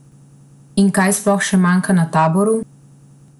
In kaj sploh še manjka na Taboru?